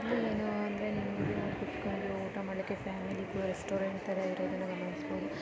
ಇಲ್ಲಿ ಏನೂ ಅಂದ್ರೆ ಇಲ್ಲಿ ಬಂದು ಕೂತ್ಕೊಂಡು ಊಟ ಮಾಡ್ಲಿಕ್ಕೆ ಇದು ರೆಸ್ಟೋರೆಂಟ್ ತರ ಇರೋದನ್ನಗಮನಿಸ್ಬಹುದು.